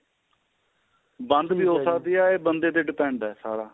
ਬੰਦ ਵੀ ਹੋ ਸਕਦੀ ਏ ਇਹ ਬੰਦੇ ਗਤੇ depend ਏ ਸਾਰਾ